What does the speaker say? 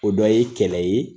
O bɛɛ ye kɛlɛ ye